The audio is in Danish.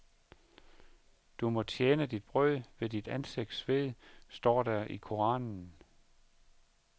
Du må tjene dit brød ved dit ansigts sved, står der i koranen.